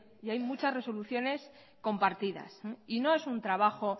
y hay muchas resoluciones compartidas y no es un trabajo